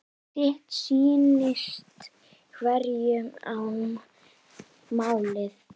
Sitt sýnist hverjum um málið.